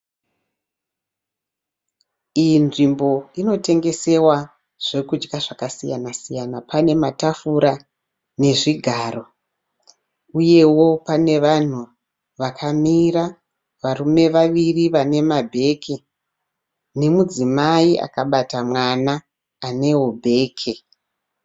Iyi nzvimbo inotengesewa zvekudya zvakasiyana siyana pane matafura nezvigaro uyewo pane vanhu vakamira varume vaviri vane mabheke nemudzimai akabata mwana anewo bheke.